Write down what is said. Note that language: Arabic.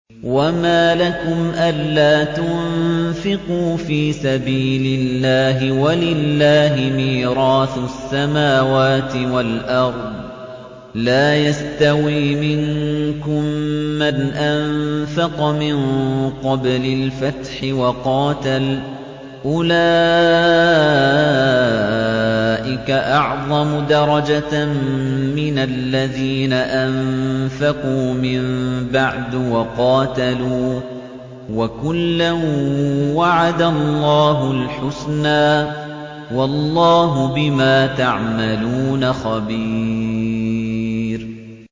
وَمَا لَكُمْ أَلَّا تُنفِقُوا فِي سَبِيلِ اللَّهِ وَلِلَّهِ مِيرَاثُ السَّمَاوَاتِ وَالْأَرْضِ ۚ لَا يَسْتَوِي مِنكُم مَّنْ أَنفَقَ مِن قَبْلِ الْفَتْحِ وَقَاتَلَ ۚ أُولَٰئِكَ أَعْظَمُ دَرَجَةً مِّنَ الَّذِينَ أَنفَقُوا مِن بَعْدُ وَقَاتَلُوا ۚ وَكُلًّا وَعَدَ اللَّهُ الْحُسْنَىٰ ۚ وَاللَّهُ بِمَا تَعْمَلُونَ خَبِيرٌ